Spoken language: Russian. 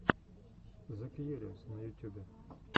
зе кьюриос на ютюбе